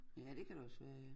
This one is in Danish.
Ja det kan det også være ja